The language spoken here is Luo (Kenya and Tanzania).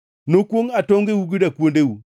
Nokwongʼ atongeu gi dakuondeu.